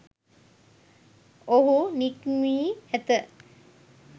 ඔහු නික්මී ඇත.